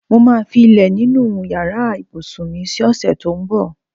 Mo máa fi ilé nínú yàrạ ìbùsùn mi si ò̩sè̩ tó ń bò̩.